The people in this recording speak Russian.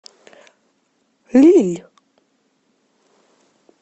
лилль